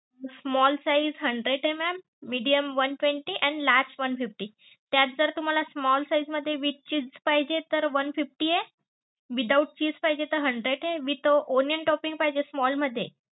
small size hundred MM medium one twenty and large one fifty त्यात जर तुम्हाला small size मध्ये with cheese पाहिजे तर one fifty आहे without चीज पाहिजे तर hundred आहे with onion toping पाहिजे small मध्ये.